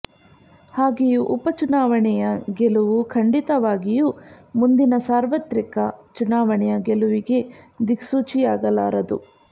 ಹಾಗೆಯೇ ಉಪಚುನಾವಣೆಯ ಗೆಲುವು ಖಂಡಿತವಾಗಿಯೂ ಮುಂದಿನ ಸಾರ್ವತ್ರಿಕ ಚುನಾವಣೆಯ ಗೆಲುವಿಗೆ ದಿಕ್ಸೂಚಿಯಾಗಲಾರದು